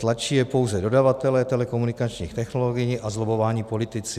Tlačí je pouze dodavatelé telekomunikačních technologií a zlobbovaní politici.